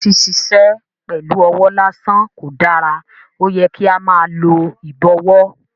Ṣiṣiṣẹ pẹlu ọwọ lasan ko dara, oyẹ ki a máa lo ibọwọ